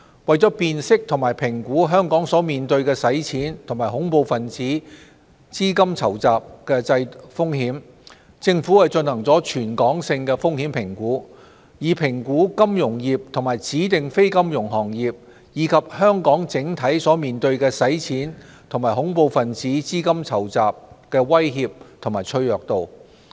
為辨識及評估香港所面對的洗錢及恐怖分子資金籌集風險，政府進行了全港性風險評估，以評估金融業及指定非金融行業，以及香港整體面對的洗錢及恐怖分子資金籌集威脅及其脆弱度。